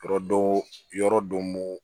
Yɔrɔ dɔ yɔrɔ dɔ